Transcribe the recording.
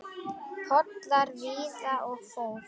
Pollar víða og for.